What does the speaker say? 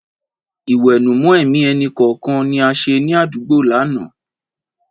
Ìwẹ̀nùmọ́ ẹ̀mí ẹnì kọ̀ọ̀kan ni a ṣe ní àdúgbò lánàá.